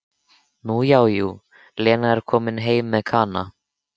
Nú já, jú, Lena kom heim með Kana.